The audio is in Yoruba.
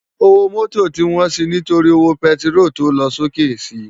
Ówó mòtó ti wòn si nitóri ówó pètiról tó lòsóké si